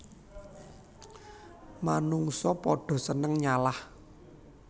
Manungsa padha seneng nyalah